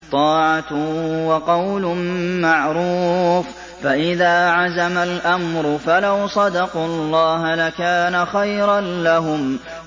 طَاعَةٌ وَقَوْلٌ مَّعْرُوفٌ ۚ فَإِذَا عَزَمَ الْأَمْرُ فَلَوْ صَدَقُوا اللَّهَ لَكَانَ خَيْرًا لَّهُمْ